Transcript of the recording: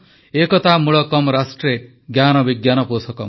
ଏକତା ମୂଳକମ୍ ରାଷ୍ଟ୍ରେ ଜ୍ଞାନ ବିଜ୍ଞାନ ପୋଷକମ୍